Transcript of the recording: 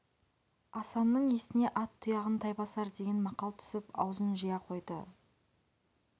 асанның есіне ат тұяғын тай басар деген мақал түсіп аузын жия қойды